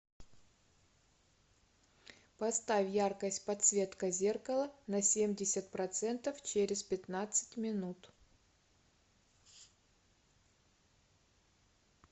поставь яркость подсветка зеркала на семьдесят процентов через пятнадцать минут